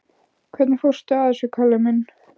Hvernig fórstu að þessu, kallinn minn?